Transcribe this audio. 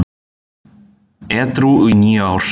Edrú í níu ár